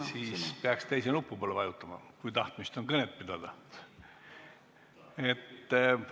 Siis peaks teise nupu peale vajutama, kui tahtmist on kõnet pidada.